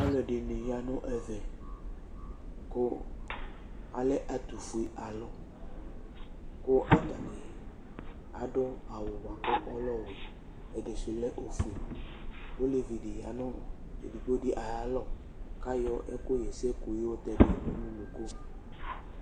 Ɔlu ɛdini ya nu ɛvɛ ku alɛ ɛtu fue alu, ku ata ni adu awu bua ku ɔlɛ ɔwɛ, ɛdi su lɛ ofue, olevie di ya nu edigbo di ayu alɔ ku ayɔ ɛku ɣɛsɛ ku yɛ yɔ tɛ dui nu unuku